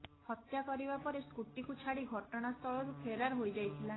ହତ୍ୟା କରିବା ପରେ ସ୍କୁଟିକୁ ଛାଡି ଘଟଣାସ୍ଥଳରୁ ଫେରାର ହୋଇଯାଇଥିଲା